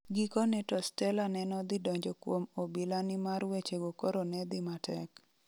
Gikone to Stella nenodhi donjo kuom obila ni mar wechego koro nedhi matek.